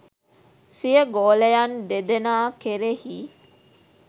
සිය ගෝලයන් දෙදෙනා කෙරෙහි